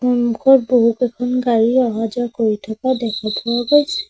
সন্মুখত বহুকেখন গাড়ী অহা যোৱা কৰি থকা দেখা পোৱা গৈছে।